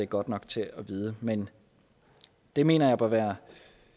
godt nok til at vide men det mener jeg må være